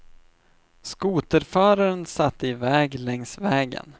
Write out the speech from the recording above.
Skoterföraren satte i väg längs vägen.